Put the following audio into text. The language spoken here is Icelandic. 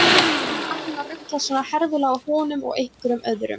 Eða var hún að ruglast svona herfilega á honum og einhverjum öðrum?